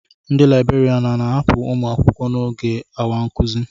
Ndị libèrián a na-ahapụ ụmụ akwụkwọ n'oge awa nkuzi